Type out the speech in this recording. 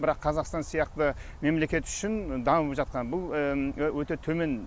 бірақ қазақстан сияқты мемлекет үшін дамып жатқан бұл өте төмен